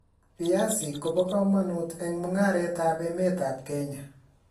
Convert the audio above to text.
viazik ko po kamanut eng mungaret ab emet ab kenya